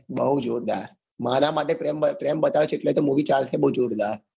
બૌ જોરદાર. મન માટે પ્રેમ બતાવ્યો એટલે તો મુવી ચાલશે બઉ જોરદાર.